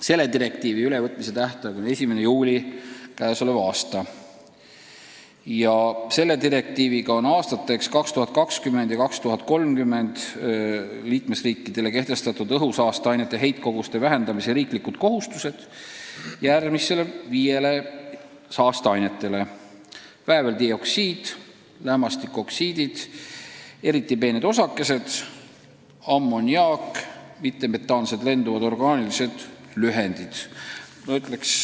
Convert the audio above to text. Selle direktiivi ülevõtmise tähtaeg on 1. juuli k.a. Direktiiviga on aastateks 2020 ja 2030 liikmesriikidele kehtestatud õhusaasteainete heitkoguste vähendamise kohustused, mis puudutavad viit saasteainet: vääveldioksiid, lämmastikoksiidid, eriti peened osakesed, ammoniaak ja mittemetaansed lenduvad orgaanilised ühendid.